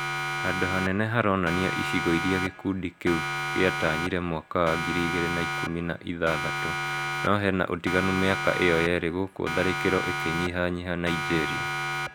Hando hanene haronania icigo ĩrĩa gĩkundi kĩu gĩatanyire mwaka wa ngiri igĩrĩ na ikũmi na ithathatũ no hena ũtiganu mĩaka ĩyo yerĩ gũkũ tharĩkiro ikĩnyiha nyiha Nigeria